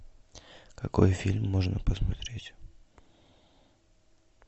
какой фильм можно посмотреть